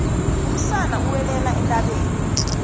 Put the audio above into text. umsana uwelela entabeni